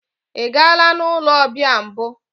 Ị gaala n'ụlọ ọbịa mbụ?